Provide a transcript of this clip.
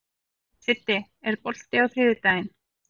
Siddi, er bolti á þriðjudaginn?